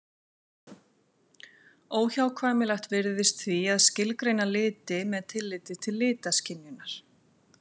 Óhjákvæmilegt virðist því að skilgreina liti með tilliti til litaskynjunar.